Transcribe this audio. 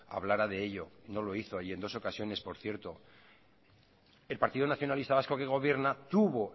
hablara de ello no lo hizo y en dos ocasiones por cierto el partido nacionalista vasco que gobierna tuvo